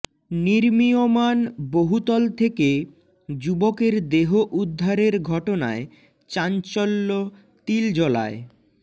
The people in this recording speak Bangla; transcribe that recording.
নির্মীয়মাণ বহুতল থেকে যুবকের দেহ উদ্ধারের ঘটনায় চাঞ্চল্য তিলজলায়